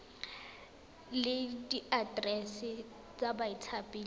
le diaterese tsa bathapi le